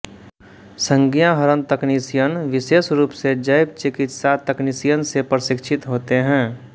संज्ञाहरण तकनीशियन विशेष रूप से जैव चिकित्सा तकनीशियन से प्रशिक्षित होते हैं